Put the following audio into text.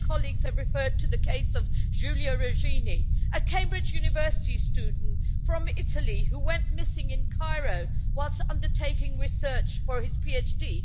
Many colleagues have referred to the case of Giulio Regeni, a Cambridge University student from Italy, who went missing in Cairo whilst undertaking research for his PhD.